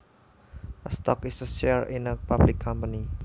A stock is a share in a public company